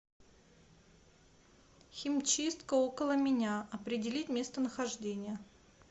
химчистка около меня определить местонахождение